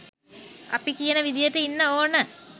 අපි කියන විදියට ඉන්න ඕන.